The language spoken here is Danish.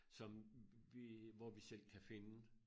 Som vi hvor vi selv kan finde